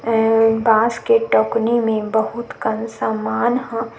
अऊ बांस के टोकनी मे बहुत कन समान ह--